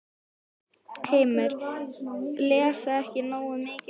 Heimir: Lesa ekki nógu mikið af bókum?